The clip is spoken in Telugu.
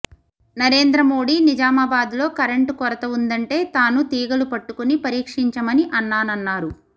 నరేంద్రమోడీ నిజామాబాద్లో కరెంట్ కొరత ఉందంటే తాను తీగలు పట్టుకుని పరీక్షించమని అన్నానన్నారు